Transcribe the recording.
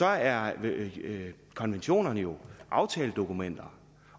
er konventionerne jo aftaledokumenter